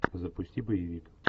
запусти боевик